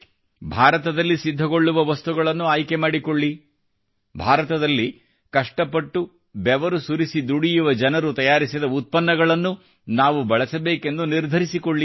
ಭಾರತದಲ್ಲಿ ಸಿದ್ಧಗೊಳ್ಳುವ ವಸ್ತುಗಳನ್ನು ಆಯ್ಕೆಮಾಡಿಕೊಳ್ಳಿ ಮತ್ತು ಭಾರತದಲ್ಲಿ ಕಷ್ಟಪಟ್ಟು ಬೆವರು ಸುರಿಸಿ ದುಡಿಯುವ ಜನರು ತಯಾರಿಸಿದ ಉತ್ಪನ್ನಗಳನ್ನು ನಾವು ಬಳಸಬೇಕೆಂದು ನಿರ್ಧರಿಸಿಕೊಳ್ಳಿ